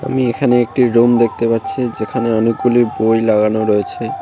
এখানে একটি রুম দেখতে পাচ্ছি যেখানে অনেকগুলি বই লাগানো রয়েছে।